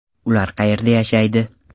Ular qayerda yashaydi?